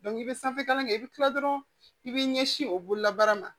i bɛ sanfɛ kalan kɛ i bɛ tila dɔrɔn i b'i ɲɛsin o bololabaara ma